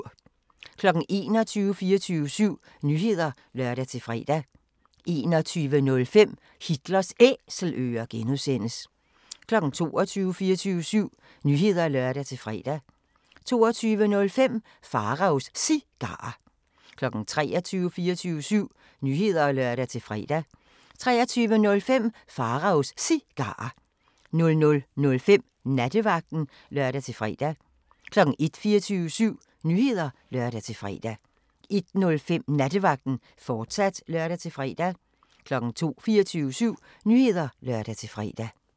21:00: 24syv Nyheder (lør-fre) 21:05: Hitlers Æselører (G) 22:00: 24syv Nyheder (lør-fre) 22:05: Pharaos Cigarer 23:00: 24syv Nyheder (lør-fre) 23:05: Pharaos Cigarer 00:05: Nattevagten (lør-fre) 01:00: 24syv Nyheder (lør-fre) 01:05: Nattevagten, fortsat (lør-fre) 02:00: 24syv Nyheder (lør-fre)